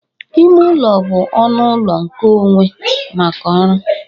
Ime ụlọ bụ ọnụ ụlọ nkeonwe maka ụra